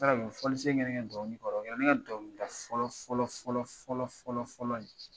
N taara u ye fɔlisen kɛ ne ke dɔnkili kɔrɔ, o kɛra ne ka dɔnkilida sa fɔlɔ fɔlɔ fɔlɔ fɔlɔ fɔlɔ fɔlɔ ye.